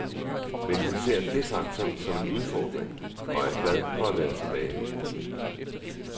Men hun ser dét faktum som en udfordring og er glad for at være tilbage.